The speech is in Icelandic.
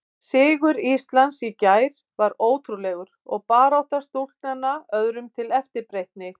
Sigur Íslands í gær var ótrúlegur og barátta stúlknanna öðrum til eftirbreytni.